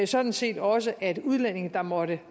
sådan set også at de udlændinge der måtte